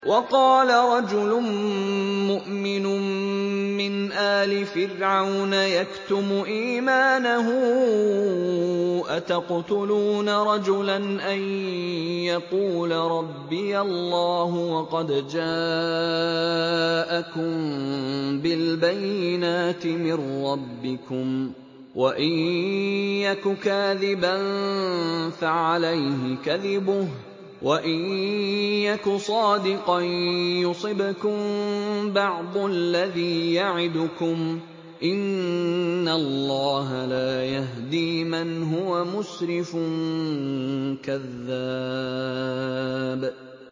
وَقَالَ رَجُلٌ مُّؤْمِنٌ مِّنْ آلِ فِرْعَوْنَ يَكْتُمُ إِيمَانَهُ أَتَقْتُلُونَ رَجُلًا أَن يَقُولَ رَبِّيَ اللَّهُ وَقَدْ جَاءَكُم بِالْبَيِّنَاتِ مِن رَّبِّكُمْ ۖ وَإِن يَكُ كَاذِبًا فَعَلَيْهِ كَذِبُهُ ۖ وَإِن يَكُ صَادِقًا يُصِبْكُم بَعْضُ الَّذِي يَعِدُكُمْ ۖ إِنَّ اللَّهَ لَا يَهْدِي مَنْ هُوَ مُسْرِفٌ كَذَّابٌ